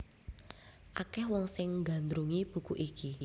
Akèh wong sing nggandrungi buku iki